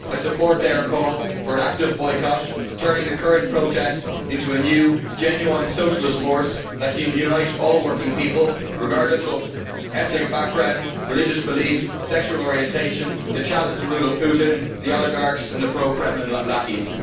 I support their call for an active boycott, turning the current protests into a new, genuine socialist force that can unite all working people, regardless of ethnic background, religious belief or sexual orientation, to challenge the rule of Putin, the oligarchs and the pro Kremlin lackeys.